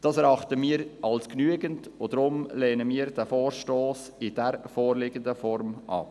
Das erachten wir als genügend, und darum lehnen wir diesen Vorstoss in der vorliegenden Form ab.